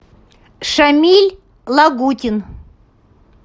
шамиль лагутин